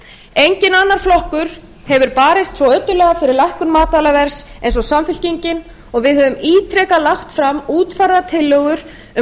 enginn annar flokkur hefur barist svo ötullega fyrir lækkun matvælaverðs eins og samfylkingin og við höfum ítrekað lagt fram útfærðar tillögur um